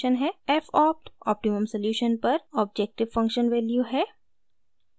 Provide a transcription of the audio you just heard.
f opt: optimum solution पर objective function value है